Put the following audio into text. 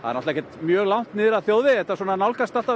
náttúrulega ekki mjög langt niður að þjóðvegi þetta nálgast